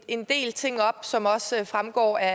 en del ting op som også fremgår af